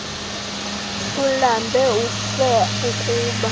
ulambe ufe ukba